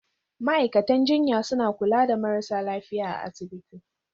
Ma'aikatan jinya suna kula da marasa lafiya a asibiti.